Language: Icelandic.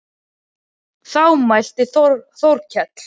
Þá mælti Þórkell